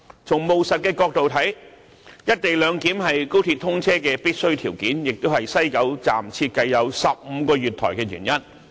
從務實的角度看，"一地兩檢"是高鐵通車的必需條件，亦是西九站設計有15個月台的原因。